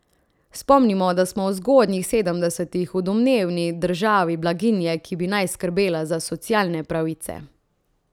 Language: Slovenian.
Spomnimo, da smo v zgodnjih sedemdesetih, v domnevni državi blaginje, ki bi naj skrbela za socialne pravice.